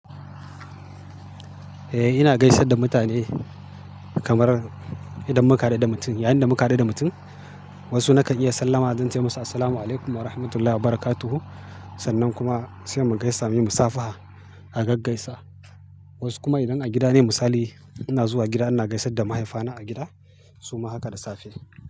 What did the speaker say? Eh ina gaisar da mutane kamar idan muka haɗu da mutum, yayin da muka haɗu da mutum wasu naka iya sallama, zan ce masa "Assalamu alaikum warahmatullahi wabarakatuh" sannan kuma sai mu gaisa muyi musafaha a gaggaisa. Wasu kuma idan a gida ne misali ina zuwa gida ina gaisar da mahaifana a gida suma haka da safe.